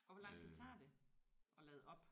Og hvor tid tager det? At lade op